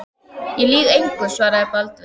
Ég lýg engu, svaraði Baldvin.